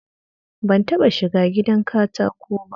Ban taɓa shiga gidan katako ba